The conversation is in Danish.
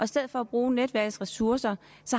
stedet for at bruge netværksressourcerne